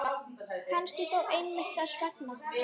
Kannski þó einmitt þess vegna.